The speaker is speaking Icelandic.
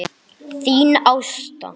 Þín Ásta.